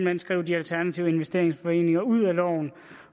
hen skrive de alternative investeringsforeninger ud